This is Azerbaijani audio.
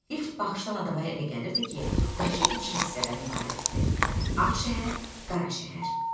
İlk baxışdan adama elə gəlirdi ki, Bakı iki hissədən ibarətdir: Ağ şəhər, Qara şəhər.